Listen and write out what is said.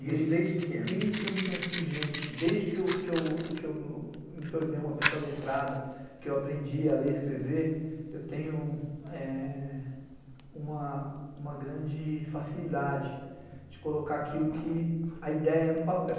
Desde pequeno, desde que eu me conheço por gente, desde que eu me tornei uma pessoa letrada, que eu aprendi a ler e escrever, eu tenho uma grande facilidade de colocar aquilo que... a ideia no papel.